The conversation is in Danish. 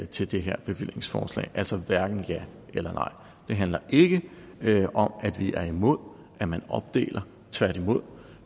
til det her bevillingsforslag altså hverken ja eller nej det handler ikke om at vi er imod at man opdeler tværtimod